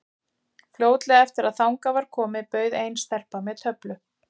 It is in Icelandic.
Fljótlega eftir að þangað var komið bauð ein stelpan mér töflu.